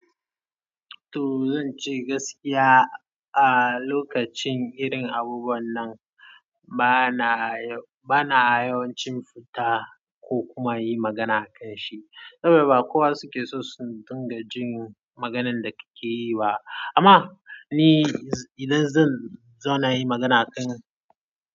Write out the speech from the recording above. To zan ce gaskiya a lokacin irin abubuwan nan bana, bana yawancin fita ko kuma in yi magana a kan shi. Saboda ba kowa suke so su dinga jin maganan da kake yi ba. Amma ni idan zan, za na yi magana kan.